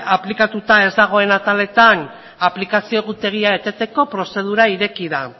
aplikatuta ez dagoen ataletan aplikazio egutegia eteteko prozedura ireki da